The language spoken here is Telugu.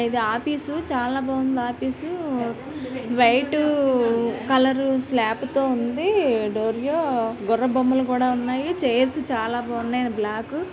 ఇది ఆఫీసు . చాలా బాగుంది ఆఫీసు . వైటు కలరు స్లాపు తో ఉంది. దూరంగా గుర్రపు బొమ్మలు కూడా ఉన్నాయ్. చైర్స్ చాలా బాగున్నాయి. And black --